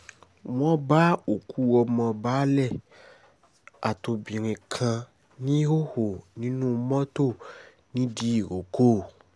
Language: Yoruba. wọ́n bá òkú ọmọ baálé àtobìnrin kan níhòòhò nínú mọ́tò ńìdírókò